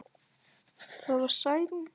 Það var Særún.